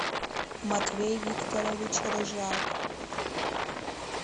матвей викторович рыжак